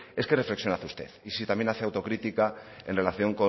es que reflexión hace usted y si también hace autocrítica en relación